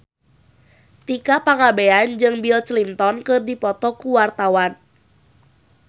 Tika Pangabean jeung Bill Clinton keur dipoto ku wartawan